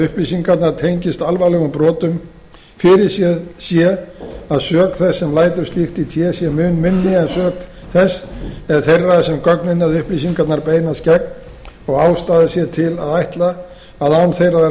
upplýsingarnar tengist alvarlegum brotum fyrirséð sé að sök þess sem lætur slíkt í té sé mun minni en sök þess eða þeirra sem gögnin eða upplýsingarnar beinast gegn og ástæða sé til að ætla að án þeirra